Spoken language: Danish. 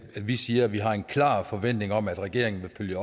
vi siger at vi har en klar forventning om at regeringen vil følge